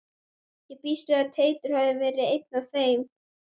Ég býst við að Teitur hafi verið einn af þeim.